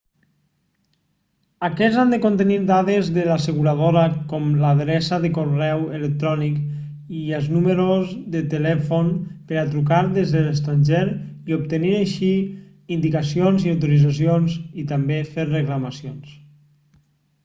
aquests han de contenir dades de l'asseguradora com l'adreça de correu electrònic i els números de telèfon per a trucar des de l'extranjer i obtenir així indicacions/autoritzacions i també fer reclamacions